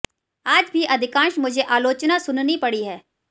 आज भी अधिकांश मुझे आलोचना सुननी पड़ी है